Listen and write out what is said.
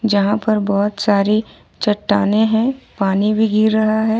जहां पर बहुत सारी चट्टानें हैं पानी भी गिर रहा है ।